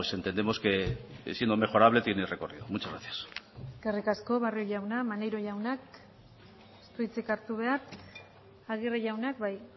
entendemos que siendo mejorable tiene recorrido muchas gracias eskerrik asko barrio jauna maneiro jaunak ez du hitzik hartu behar aguirre jaunak bai